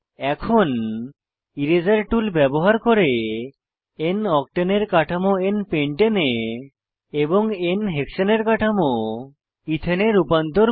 এখন eraser tool ব্যবহার করে n অক্টেন এর কাঠামো n পেন্টানে এ এবং n হেক্সানে এর কাঠামো এথানে এ রূপান্তর করা